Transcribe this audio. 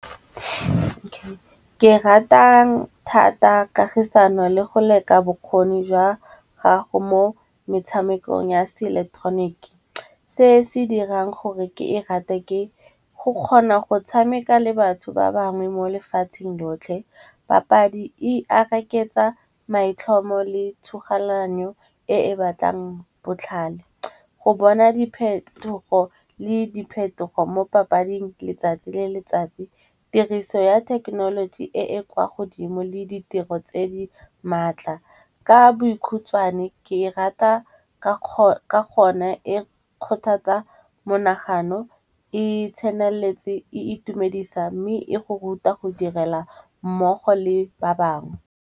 Ke ratang thata kagisano le go leka bokgoni jwa gago mo metshamekong ya se ileketeroniki. Se se dirang gore ke e rate, ke go kgona go tshameka le batho ba bangwe mo lefatsheng lotlhe papadi e areketsa maitlhomo le tshoganyetso e batlang botlhale. Go bona diphetogo le diphetogo mo papading letsatsi le letsatsi tiriso ya thekenoloji e e kwa godimo le ditiro tse di maatla. Ka bokhutswane ke e rata ka gonne e kgothatsa monagano e tseneletse, e itumedisa mme e go ruta go direla mmogo le ba bangwe.